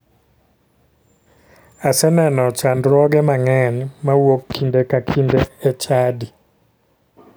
Aseneno chandruoge mang'eny mawuok kinde ka kinde e chadi.